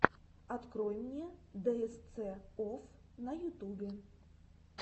открой мне дээсце офф на ютубе